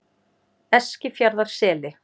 Eskifjarðarseli